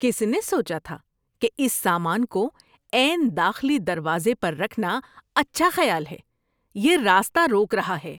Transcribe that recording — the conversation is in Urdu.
کس نے سوچا تھا کہ اس سامان کو عین داخلی دروازے پر رکھنا اچھا خیال ہے؟ یہ راستہ روک رہا ہے۔